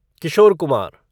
Kishore Kumar